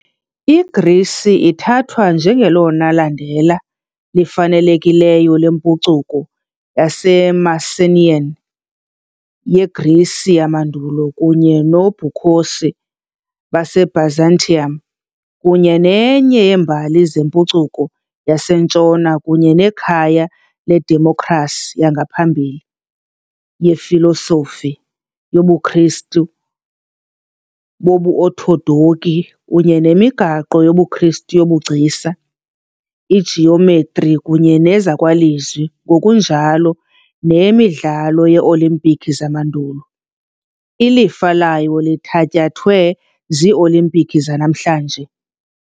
IGrisi ithathwa njengelona landela lifanelekileyo lempucuko yaseMycenaean, yeGrisi yamandulo kunye noBukhosi baseByzantium, kunye nenye yeembali zempucuko yaseNtshona kunye nekhaya ledemokhrasi yangaphambili , yefilosofi , yobuKristu bobuOthodoki kunye yemigaqo yobuKristu yobugcisa, ijiyometri kunye nezakwalizwi ngokunjalo neyeMidlalo ye - Olimpiki yamandulo, ilifa layo lithatyathwe ziiOlimpiki zanamhlanje .